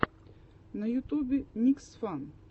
на ютубе никсфан